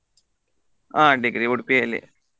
ಹಾ degree Udupi ಯಲ್ಲಿ.